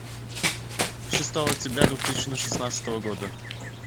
шестого октября две тысячи шестнадцатого года